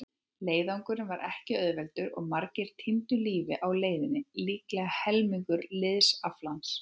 Leiðangurinn var ekki auðveldur og margir týndu lífi á leiðinni, líklega helmingur liðsaflans.